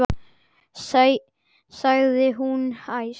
sagði hún æst.